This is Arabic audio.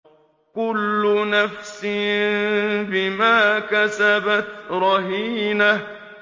كُلُّ نَفْسٍ بِمَا كَسَبَتْ رَهِينَةٌ